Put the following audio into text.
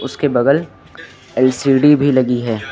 उसके बगल एल_सी_डी भी लगी है।